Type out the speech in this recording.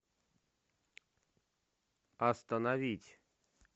остановить